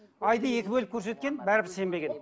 айды екі бөліп көрсеткен бәрібір сенбеген